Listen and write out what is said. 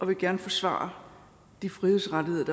vil gerne forsvare de frihedsrettigheder